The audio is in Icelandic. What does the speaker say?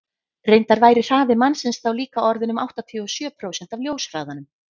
reyndar væri hraði mannsins þá líka orðinn um áttatíu og sjö prósent af ljóshraðanum